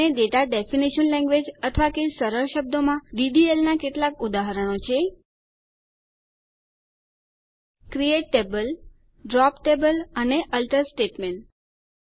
અને data definition language અથવા કે સરળ શબ્દોમાં ડીડીએલ નાં કેટલાક ઉદાહરણો છે ક્રિએટ ટેબલ ડ્રોપ ટેબલ અને આલ્ટર સ્ટેટમેંટ્સ